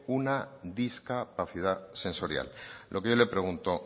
una discapacidad sensorial lo que yo le pregunto